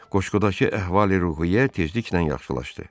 Qoşqudakı əhvali-ruhiyyə tezliklə yaxşılaşdı.